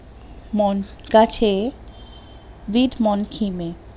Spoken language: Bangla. মন্ট গাছে বিট মানকিন এ